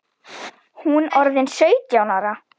Hún orðin sautján ára.